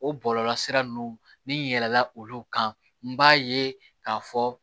O bɔlɔlɔsira ninnu ni yɛlɛnna olu kan n b'a ye k'a fɔ